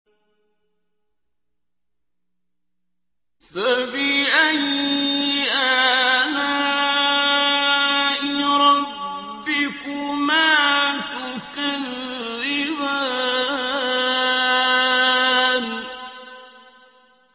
فَبِأَيِّ آلَاءِ رَبِّكُمَا تُكَذِّبَانِ